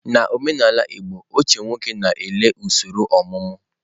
Na omenala igbo ochie nwoke na-ele usoro omumu.